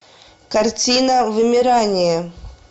картина вымирание